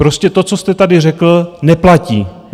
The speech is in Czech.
Prostě to, co jste tady řekl, neplatí.